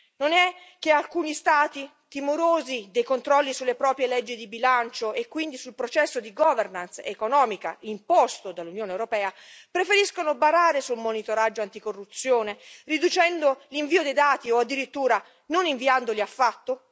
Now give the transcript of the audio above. Non è che alcuni Stati, timorosi dei controlli sulle proprie leggi di bilancio e quindi sul processo di governance economica imposto dall'Unione europea, preferiscono barare sul monitoraggio anticorruzione, riducendo l'invio dei dati o addirittura non inviandoli affatto?